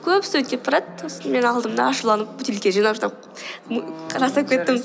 көп студент кетіп барады сосын мен алдым да ашуланып бөтелке жинап жинап